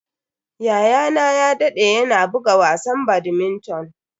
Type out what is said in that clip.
Yayana ya dade yana buga wasan badminton.